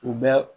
U bɛ